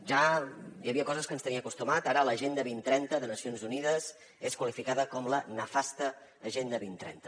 ja hi havia coses a què ens tenia acostumat ara l’agenda vint trenta de nacions unides és qualificada com la nefasta agenda vint trenta